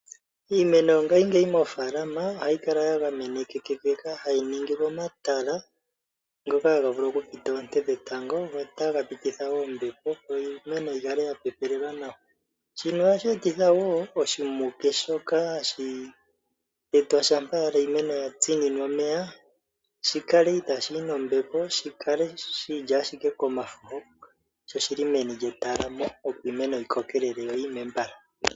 Iimeno miikunino ohayi kala ya gamenwa hayi ningilwa omatala goonete ngoka haga vulu okupita oonte dhetango nombepo opo iimeno yikale yapepelelwa nawa, shika ohashi kwathele oshimuke shikale po ethimbo moshikunino oshoka itashi yi nombepo.